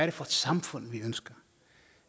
er for et samfund vi ønsker